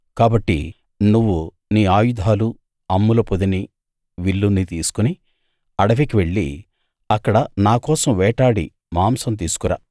కాబట్టి నువ్వు నీ ఆయుధాలు అమ్ముల పొదినీ విల్లునీ తీసుకుని అడవికి వెళ్ళి అక్కడ నాకోసం వేటాడి మాంసం తీసుకురా